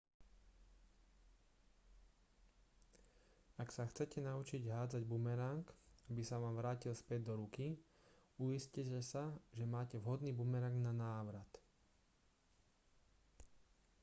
ak sa chcete naučiť hádzať bumerang aby sa vám vrátil späť do ruky uistite sa že máte vhodný bumerang na návrat